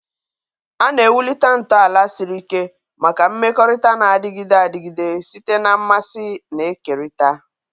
A na-ewulite ntọala siri ike maka mmekọrịta na-adịgide adịgide site na mmasị na-ekerịta.